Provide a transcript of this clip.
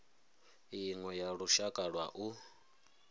iṅwe ya lushaka lwa u